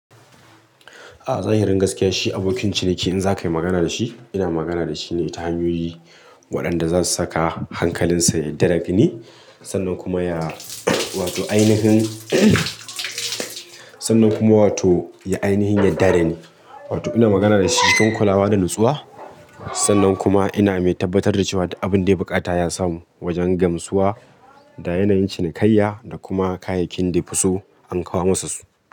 A'a, zahiri gaskiya shi abokin ciniki in za ka yi magana da shi, ina magana da shi ne ta hanyoyi waɗanda za su saka hankalinsa yarda da ni sannan kuma ya wato ainihin sannan kuma wato ya ainihin yarda da ni. Wato ina magana da shi cikin kulawa da natsuwa, sannan kuma ina mai tabbatar da cewa abin da ya bukata ya samu wajen gamsuwa da yanayin cinikayya da kuma kayayyakin da ya fi so an kawo masa su.